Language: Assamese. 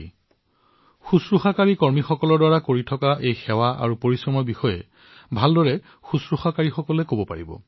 কেৱল নাৰ্চেহে নাৰ্চিং কৰ্মচাৰীৰ দ্বাৰা কৰা সেৱা আৰু কঠোৰ পৰিশ্ৰমৰ বিষয়ে ভালদৰে কব পাৰে